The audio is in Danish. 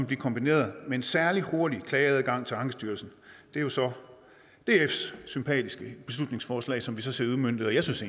blive kombineret med en særlig hurtig klageadgang til ankestyrelsen det er jo så dfs sympatiske beslutningsforslag som vi ser udmøntet jeg synes